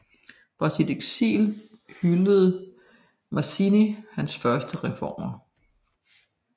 Fra sit eksil hyllede Mazzini hans første reformer